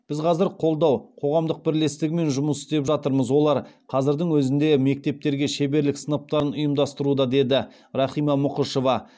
біз қазір қолдау қоғамдық бірлестігімен жұмыс істеп жатырмыз олар қазірдің өзінде мектептерге шеберлік сыныптарын ұйымдастыруда деді рахима мұқышева